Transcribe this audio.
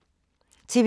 TV 2